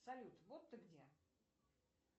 салют вот ты где